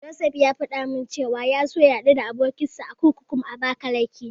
Josef ya faɗa min cewa ya so ya haɗu da abokinsa a kurkukun Abakalake.